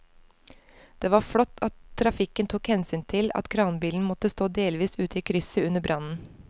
Det var flott at trafikken tok hensyn til at kranbilen måtte stå delvis ute i krysset under brannen.